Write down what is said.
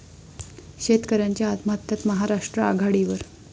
शेतकऱयांच्या आत्महत्यांत महाराष्ट्र आघाडीवर